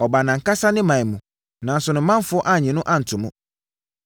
Ɔbaa nʼankasa ne ɔman mu, nanso ne manfoɔ annye no anto mu.